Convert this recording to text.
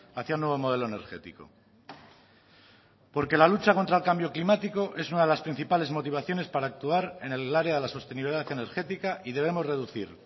hacia un nuevo modelo energético porque la lucha contra el cambio climático es una de las principales motivaciones para actuar en el área de la sostenibilidad energética y debemos reducir